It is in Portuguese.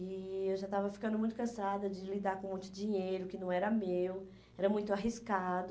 E eu já estava ficando muito cansada de lidar com muito dinheiro que não era meu, era muito arriscado.